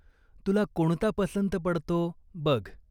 तुला कोणता पसंत पडतो बघ.